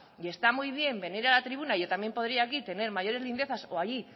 y está muy bien venir a la tribuna yo también podría aquí tener mayores lindezas o ahí